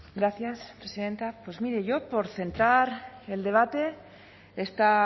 gracias presidenta pues mire yo por centrar el debate esta